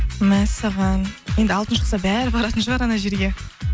мәссаған енді алтын шықса бәрі баратын шығар жерге